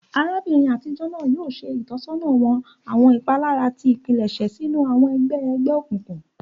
Arabinrin atijọ naa yoo ṣe itọsọna wa awọn ipalara ti ipilẹṣẹ sinu awọn ẹgbẹ egbeokunkun.